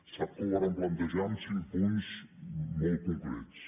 sap que ho vàrem plantejar amb cinc punts molt concrets